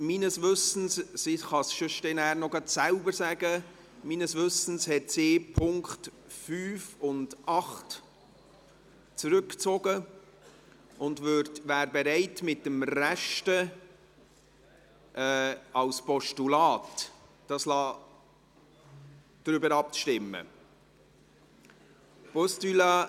Sie kann es nachher noch selber sagen, aber meines Wissens hat sie die Punkte 5 und 8 zurückgezogen und wäre bereit, über den Rest als Postulat abstimmen zu lassen.